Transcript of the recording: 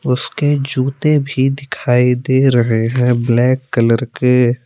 उसके जूते भी दिखाई दे रहे हैं ब्लैक कलर के।